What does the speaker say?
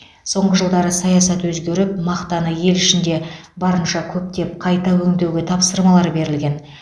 соңғы жылдары саясат өзгеріп мақтаны ел ішінде барынша көптеп қайта өңдеуге тапсырмалар берілген